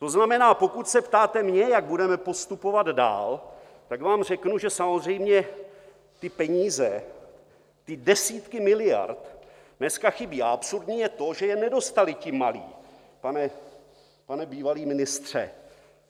To znamená, pokud se ptáte mě, jak budeme postupovat dál, tak vám řeknu, že samozřejmě ty peníze, ty desítky miliard dneska chybí, a absurdní je to, že je nedostali ti malí, pane bývalý ministře.